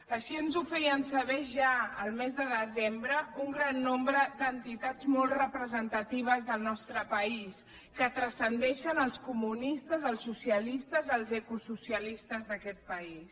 així ens ho feien saber ja el mes de desembre un gran nombre d’entitats molt representatives del nostre país que transcendeixen els comunistes els socialistes els ecosocialistes d’aquest país